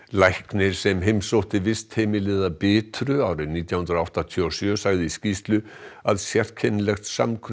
læknir sem heimsótti vistheimilið að Bitru árið nítján hundruð áttatíu og sjö sagði í skýrslu að sérkennilegt samkrull